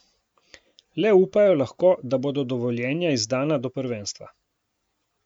Le upajo lahko, da bodo dovoljenja izdana do prvenstva.